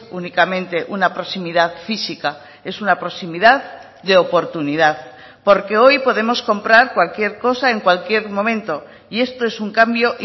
únicamente una proximidad física es una proximidad de oportunidad porque hoy podemos comprar cualquier cosa en cualquier momento y esto es un cambio